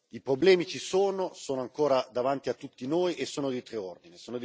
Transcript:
I problemi ci sono, sono ancora davanti a tutti noi e sono di tre ordini.